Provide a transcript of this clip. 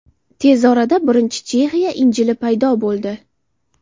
Tez orada birinchi Chexiya Injili paydo bo‘ldi.